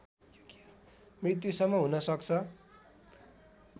मृत्युसम्म हुन सक्छ